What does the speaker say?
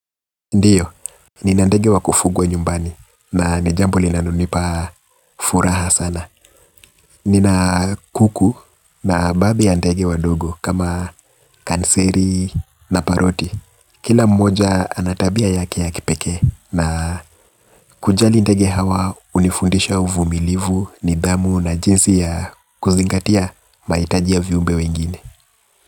Ndiyo, nina ndege wa kufugwa nyumbani, na ni jambo linalonipa furaha sana. Nina kuku na baadhi ya ndege wadogu kama kanseri na paroti. Kila mmoja ana tabia yake ya kipekee na kujali ndege hawa hunifundisha uvumilivu, nidhamu na jinsi ya kuzingatia mahitajia ya viumbe wengine.